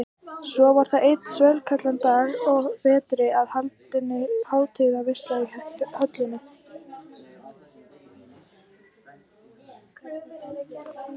Svo var það einn svellkaldan dag að vetri að haldin var hátíðarveisla í höllinni.